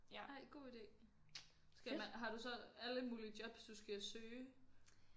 Ej god ide skal man har du så alle mulige jobs du skal søge